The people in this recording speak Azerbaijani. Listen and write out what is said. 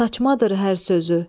Saçmadır hər sözü.